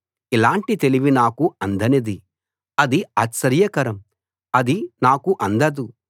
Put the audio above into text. ఇలాంటి తెలివి నాకు అందనిది అది ఆశ్చర్యకరం అది నాకు అందదు